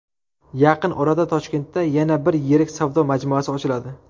Yaqin orada Toshkentda yana bir yirik savdo majmuasi ochiladi.